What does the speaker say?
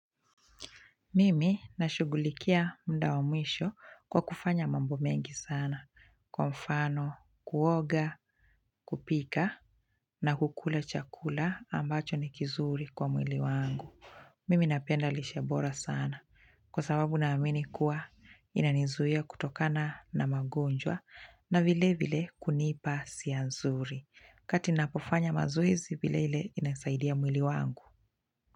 Mimi na shugulikia muda wa mwisho kwa kufanya mambo mengi sana. Kwa mfano, kuoga, kupika na kukula chakula ambacho ni kizuri kwa mwili wangu. Mimi napenda lishe bora sana. Kwa sababu na amini kuwa inanizuia kutokana na magonjwa na vile vile kunipa hisia nzuri. WaKati napofanya mazoezi vile vile inasaidia mwili wangu.